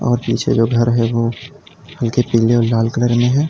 और पीछे जो घर है वो हल्के पीले और लाल कलर में है।